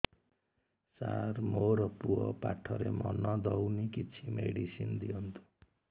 ସାର ମୋର ପୁଅ ପାଠରେ ମନ ଦଉନି କିଛି ମେଡିସିନ ଦିଅନ୍ତୁ